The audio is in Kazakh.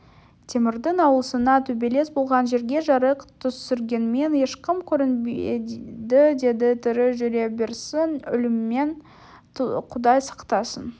темірдің ауласына төбелес болған жерге жарық түсіргенмен ешкім көрінбеді деді тірі жүре берсін өлімнен құдай сақтасын